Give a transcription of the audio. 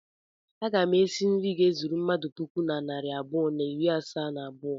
Aga m esi nri ga-ezuru mmadụ puku na narị abụọ na iri asaa na abụọ.